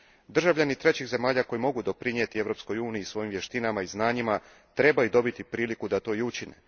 Državljani trećih zemalja koji mogu doprinijeti Europskoj uniji svojim vještinama i znanjima trebaju dobiti priliku da to i učine.